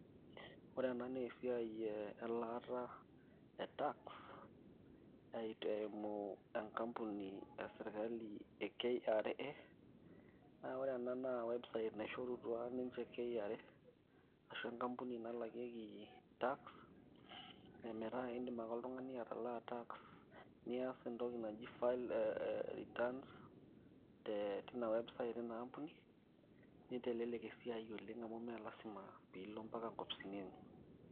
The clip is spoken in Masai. ore ena naa esiai elaata e tax eimu enkampuni esirkali e KRA naa ore ena naa website naishorutua ninche KRA ashu enkampuni nalakieki tax emetaa indim ake oltung'ani atalaa tax niyas entoki file returns te tina website ina ampuni nitelelek esiai oleng amu mee lasima piilo mpaka nkampunini enye.